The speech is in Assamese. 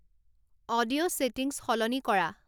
অডিঅ' ছেটিংছ সলনি কৰা